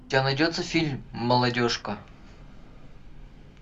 у тебя найдется фильм молодежка